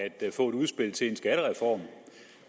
få et udspil til en skattereform